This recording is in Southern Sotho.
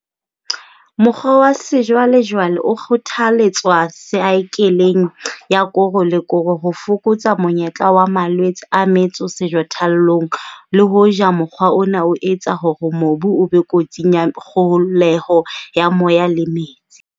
Mokgwa wa sejwalejwale o kgothaletswa saekeleng ya koro le koro ho fokotsa monyetla wa malwetse a metso sejathollong le hoja mokgwa ona o etsa hore mobu o be kotsing ya kgoholeho ya moya le ya metsi.